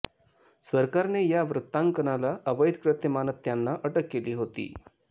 सरकारने या वृत्तांकनाला अवैध कृत्य मानत त्यांना अटक केली होती